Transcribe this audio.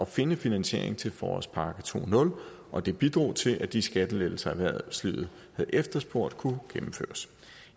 finde finansiering til forårspakke 20 og det bidrog til at de skattelettelser erhvervslivet havde efterspurgt kunne gennemføres